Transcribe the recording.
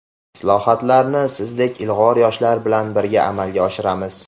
Islohotlarni sizdek ilg‘or yoshlar bilan birga amalga oshiramiz.